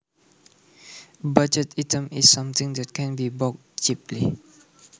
A budget item is something that can be bought cheaply